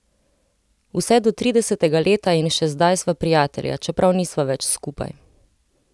Vse do tridesetega leta in še zdaj sva prijatelja, čeprav nisva več skupaj!